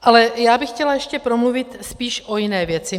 Ale já bych chtěla ještě promluvit spíš o jiné věci.